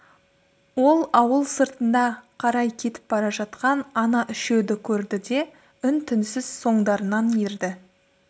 ол ауыл сыртына қарай кетіп бара жатқан ана үшеуді көрді де үн-түнсіз соңдарынан ерді